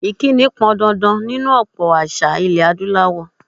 Ìkíni pọn dandan nínú àṣà ọlpọ̀ ilé Adúláwọ̀.